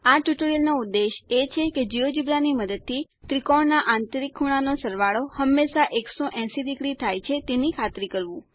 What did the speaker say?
આ ટ્યુટોરીયલનો ઉદ્દેશ એ છે કે જિયોજેબ્રા ની મદદથી ત્રિકોણના આંતરિક ખૂણાનો સરવાળો હંમેશા 180 ડિગ્રી થાય તેની ખાતરી કરવું